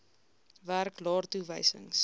werk laer toewysings